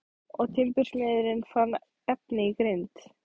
Og timbursmiðurinn fann efni í grind.